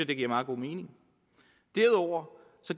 det giver meget god mening derudover